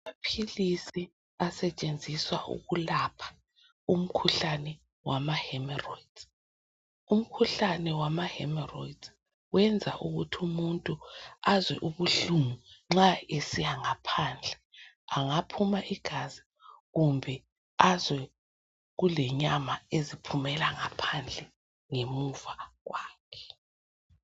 Amaphilisi asetshenziswa ukulapha umkhuhlane wama hemerolds. Umkhuhlane wama hemerolds uyenza ukuthi umuntu azwe ubuhlungu nxa esiyangaphandle angaphuma igazi kumbe azwe kule nyama eziphumela ngaphandle ngemuva kwakhe.